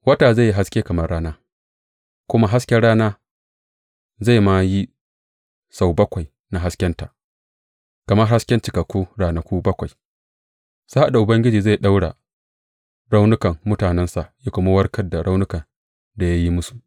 Wata zai yi haske kamar rana, kuma hasken rana zai ma yi sau bakwai na haskenta, kamar hasken cikakku ranaku bakwai, sa’ad da Ubangiji zai ɗaura raunukan mutanensa ya kuma warkar da raunukan da ya yi musu.